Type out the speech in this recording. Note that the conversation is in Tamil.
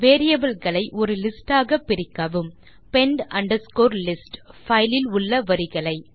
வேரியபிள் களை ஒரு லிஸ்ட் ஆக பிரிக்கவும் பெண்ட் அண்டர்ஸ்கோர் லிஸ்ட் பைல் இல் உள்ள வரிகளை